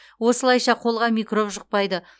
осылайша қолға микроб жұқпайды